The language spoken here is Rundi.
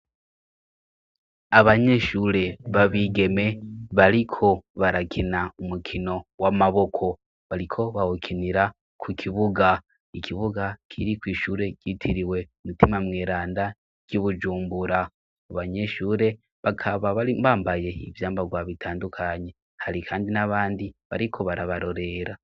Abanyeshure b'abigeme bariko barakina umukino w'amaboko. Bariko bawukinira ku kibuga; ikibuga kiri kw' ishure ryitiriwe Mutima Mweranda ry'i Bujumbura. Abanyeshure bakaba bari bambaye ivyambarwa bitandukanye; hari kandi n'abandi bariko barabarorera.